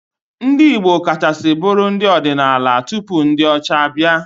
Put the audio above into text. Ndị Igbo kachasị bụụrụ ndị ọdịnala tupu ndị ọcha abịa.